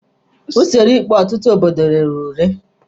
Usoro ikpe ọtụtụ obodo rere ure.